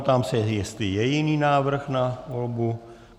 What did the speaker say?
Ptám se, jestli je jiný návrh na volbu.